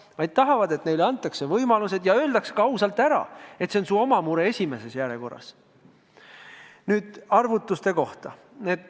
Inimesed tahavad, et neile antakse võimalused ja öeldakse ka ausalt ära, et see on eelkõige su oma mure.